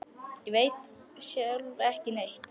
Ég veit sjálf ekki neitt.